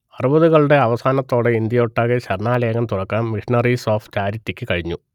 അറുപതുകളുടെ അവസാനത്തോടെ ഇന്ത്യയൊട്ടാകെ ശരണാലയങ്ങൾ തുറക്കാൻ മിഷണറീസ് ഓഫ് ചാരിറ്റിക്ക് കഴിഞ്ഞു